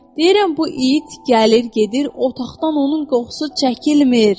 Deyirəm bu it gəlir gedir, otaqdan onun qoxusu çəkilmir.